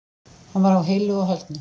Hann var á heilu og höldnu